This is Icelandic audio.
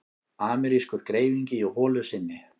Amerískur greifingi í holu sinni.